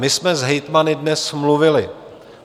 My jsme s hejtmany dnes mluvili.